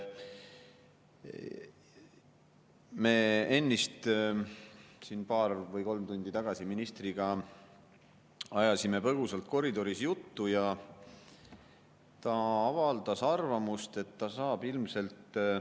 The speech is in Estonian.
Me ennist siin paar või kolm tundi tagasi ministriga ajasime põgusalt koridoris juttu ja ta avaldas arvamust, et ta saab ilmselt …